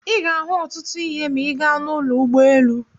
Ị ga-ahụ ọtụtụ ihe ma ị gaa n'ụlọ ụgbọelu.